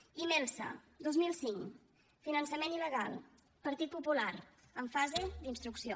imelsa dos mil cinc finançament il·legal partit popular en fase d’instrucció